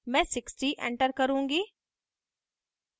मैं 60 एंटर करुँगी